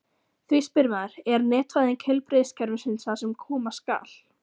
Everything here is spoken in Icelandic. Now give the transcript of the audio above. Því spyr maður: Er netvæðing heilbrigðiskerfisins það sem koma skal?